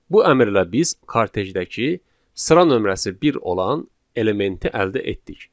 Bu əmrlə biz kartejdəki sıra nömrəsi bir olan elementi əldə etdik.